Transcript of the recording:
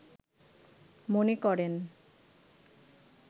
মনে করেন